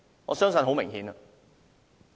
我相信答案很明顯。